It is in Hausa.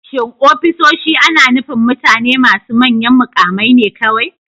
Shin ofisoshi ana nufin mutane masu manyan mukamai ne kawai?